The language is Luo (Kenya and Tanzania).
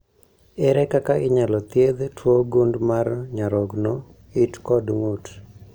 Ere kaka inyalo thiedh tuwo gund mar nyarogno, it kod ng'ut?